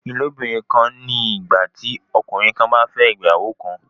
Ìlóbìnrin kan ni ìgbà tí ọkùnrin kan bá fẹ́ ìyàwó kan